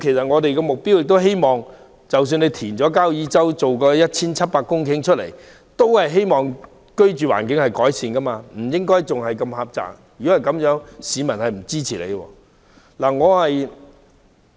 我們希望交椅洲填海所得 1,700 公頃土地，能令居住環境有所改善，改變細小的居住面積，否則市民不會支持。